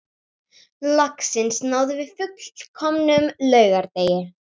Loksins náðum við fullkomnum laugardegi